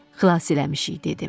Xilas eləmişik, dedim.